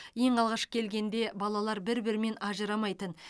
ең алғаш келгенде балалар бір бірінен ажырамайтын